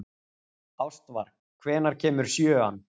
Ástvar, hvenær kemur sjöan?